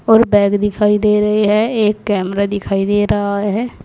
और बैग दिखाई दे रहे है एक कैमरा दिखाई दे रहा है।